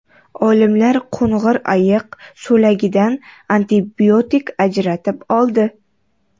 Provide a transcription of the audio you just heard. Olimlar qo‘ng‘ir ayiq so‘lagidan antibiotik ajratib oldi.